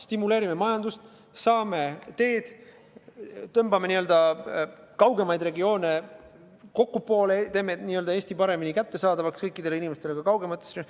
Stimuleerime majandust, saame teed, tõmbame kaugemaid regioone n-ö kokkupoole, teeme Eesti paremini kättesaadavaks kõikidele inimestele, ka kaugemates regioonides.